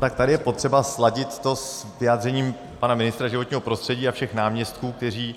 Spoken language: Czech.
Tak tady je potřeba sladit to s vyjádřením pana ministra životního prostředí a všech náměstků, kteří